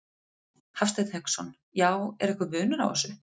Hafsteinn Hauksson: Já, er einhver munur á þessu?